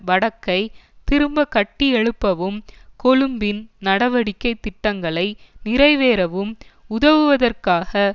வடக்கை திரும்ப கட்டியெழுப்பவும் கொழும்பின் நடவடிக்கை திட்டங்களை நிறைவேறவும் உதவுவதற்காக